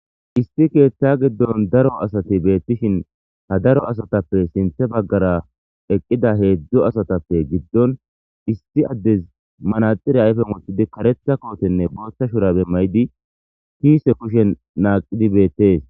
isti keeththa giddon daro asati beettishin ha daro asatappe sinthe baggara eqqida heedzdzu asatappe giddon isti addez manaxire ayfen woththidi karetha kootenne booththa shurabe maydi kiise kushen naaqidi beettees